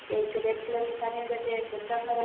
एक red colour की साड़ी में बैठी है एक बच्चा खरा --